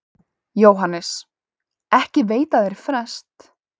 JÓHANNES: Ekki veita þeir frest.